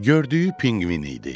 Gördüyü pinqvin idi.